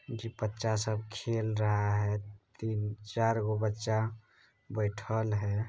जी बच्चा सब खेल रहा है तीन चार गो बच्चा बैठल है।